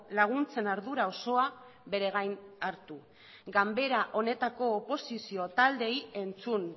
laguntzen ardura osoa bere gain hartu ganbera honetako oposizio taldeei entzun